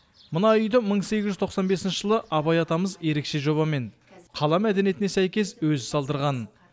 мына үйді мың сегіз жүз тоқсан бесінші жылы абай атамыз ерекше жобамен қала мәдениетіне сәйкес өзі салдырған